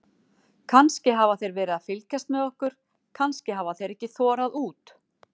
Kannski hafa þeir verið að fylgjast með okkur, kannski hafa þeir ekki þorað út.